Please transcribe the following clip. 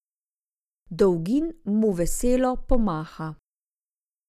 Dolgin mu veselo pomaha.